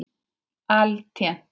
Altént reyna.